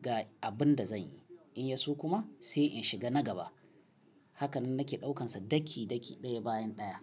ga abin da zanyi. In yi so kuma sai in shiga na gaba. Hakanan nake ɗaukansa daki-daki ɗaya bayan ɗaya."